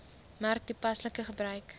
merk toepaslike gebruik